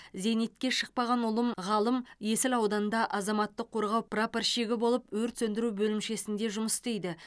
зейнетке шықпаған ұлым ғалым есіл ауданында азаматтық қорғау прапорщигі болып өрт сөндіру бөлімшесінде жұмыс істейді